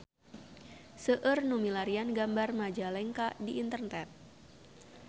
Seueur nu milarian gambar Majalengka di internet